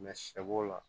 sɛ b'o la